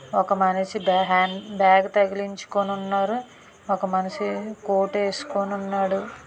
ఒక మనిషి బ్యాగ్ తగిలించుకుని ఉన్నాడు. ఒక మనిషి కోటు వేసుకుని ఉన్నాడు.